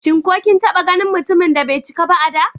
Shin ko kin taɓa ganin mutumin da bai cika ba a da?